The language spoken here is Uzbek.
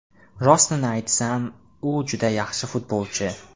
Rostini aytsam, u juda yaxshi futbolchi!